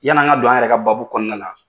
Yani an ka don an yɛrɛ ka baabu kɔnɔna la.